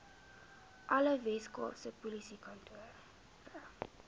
alle weskaapse polisiekantore